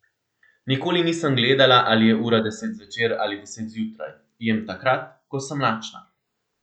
Nikoli nisem gledala, ali je ura deset zvečer ali deset zjutraj, jem takrat, ko sem lačna.